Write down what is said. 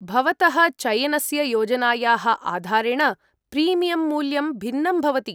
भवतः चयनस्य योजनायाः आधारेण प्रीमियम् मूल्यं भिन्नं भवति।